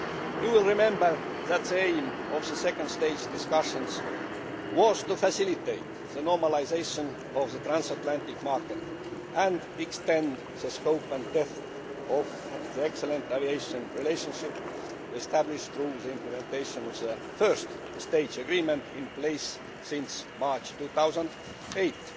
You will remember that the aim of the second stage discussions was to facilitate the normalisation of the transatlantic market and extend the scope and depth of the excellent aviation relationship established through the implementation of the first stage agreement, in place since March 2008.